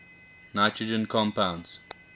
nitrogen compounds